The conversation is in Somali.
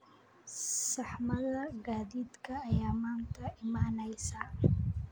Saxmadda gaadiidka ayaa maanta imanaysa